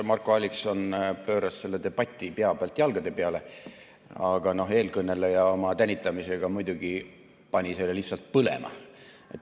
Marko Allikson pööras õnneks selle debati pea pealt jalgade peale, aga no eelkõneleja oma tänitamisega muidugi pani selle lihtsalt põlema.